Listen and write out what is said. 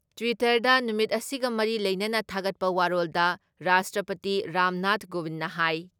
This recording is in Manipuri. ꯇ꯭ꯋꯤꯇꯔꯗ ꯅꯨꯃꯤꯠ ꯑꯁꯤꯒ ꯃꯔꯤ ꯂꯩꯅꯅ ꯊꯥꯒꯠꯄ ꯋꯥꯔꯣꯜꯗ ꯔꯥꯁꯇ꯭ꯔꯄꯇꯤ ꯔꯥꯝꯅꯥꯊ ꯀꯣꯕꯤꯟꯅ ꯍꯥꯏ